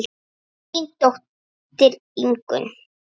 Þín dóttir Ingunn.